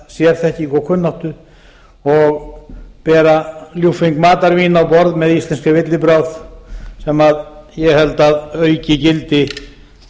sérþekkingu og kunnáttu og bera ljúffeng matarvín á borð með íslenskri villibráð sem ég held að auki gildi